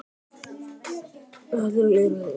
Pétur Viðarsson Fallegasta knattspyrnukonan?